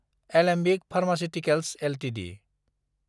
Alembic Pharmaceuticals Ltd